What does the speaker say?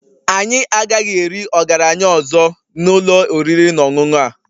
Anyị agaghị eri ọgaranya ọzọ na ụlọ oriri na ọṅụṅụ a